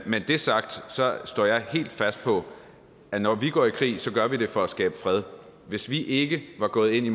med det sagt står jeg helt fast på at når vi går i krig gør vi det for at skabe fred hvis vi ikke var gået ind i